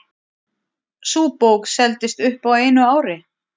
Sú bók seldist upp á einu ári.